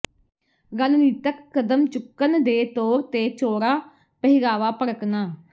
ਰਣਨੀਤਕ ਕਦਮ ਚੁੱਕਣ ਦੇ ਤੌਰ ਤੇ ਚੌੜਾ ਪਹਿਰਾਵਾ ਭੜਕਣਾ